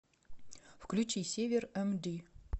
включи север эмди